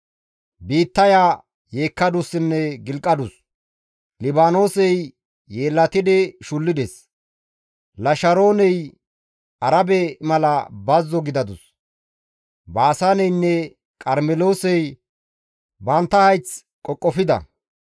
Biittaya yeekkadussinne gilqadus; Libaanoosey yeellatidi shullides; Lasharooney Arabe mala bazzo gidadus; Baasaaneynne Qarmeloosey bantta hayth qoqofida.